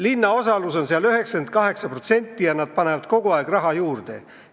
Linna osalus on seal 98 protsenti ja nad panevad kogu aeg raha juurde.